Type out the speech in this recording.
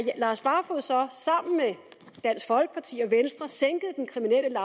lars barfoed så sammen med dansk folkeparti og venstre sænkede den kriminelle